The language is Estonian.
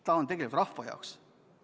Ta on tegelikult kogu rahva jaoks.